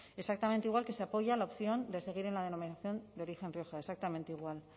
exactamente igual que se apoya la opción de seguir en la denominación de origen rioja exactamente igual